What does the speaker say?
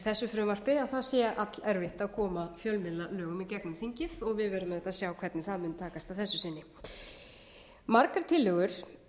þessu frumvarpi að það sé allerfitt að koma fjölmiðlalögum í gegnum þingið og við verðum auðvitað að sjá hvernig það mun takast að þessu sinni margar tillögur